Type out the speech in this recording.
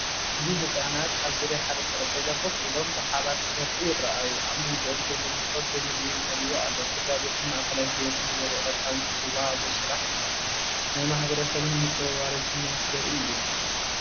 ኣብዚ ህጻናት ኣብ ዙርያ ሓደ ጠረጴዛ ኮፍ ኢሎም፡ ብሓባር ክበልዑ ይረኣዩ። ኣብ መንጎኦም ዘሎ መሶብ ብመግቢ መሊኡ ኣሎ። ስድራቤትን ማእኸላይ ህይወትን ዘርኢ ቀዳምነት ዝወሃቦ ስራሕ እዩ። ናይ ማሕበረሰብን ምጽውዋርን ስምዒት ዘርኢ እዩ።